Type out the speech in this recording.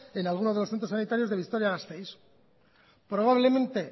en alguno de los centros sanitarios de vitoria gasteiz probablemente